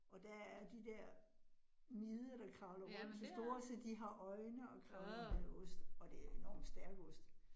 Og der er de der mider, der kravler rundt, de store så de har øjne, og kravler i den her ost, og det enormt stærk ost